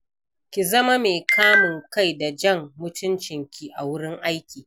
Ki zama mai kamun kai da jan mutuncinki a wurin aiki.